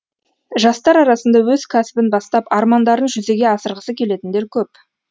жастар арасында өз кәсібін бастап армандарын жүзеге асырғысы келетіндер көп